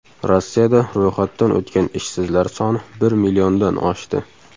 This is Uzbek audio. Rossiyada ro‘yxatdan o‘tgan ishsizlar soni bir milliondan oshdi.